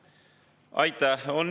Aitäh!